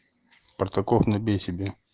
партаков на бей себе